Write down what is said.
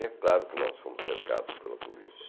E é claro que nós fomos cercados pela polícia.